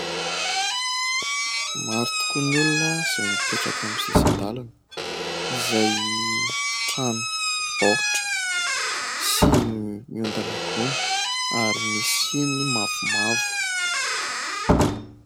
Maro tokoa ny olona izay mipetraka amin'ny sisin-dalana. Izay trano baoritra sy miondana gony ary misy siny mavomavo.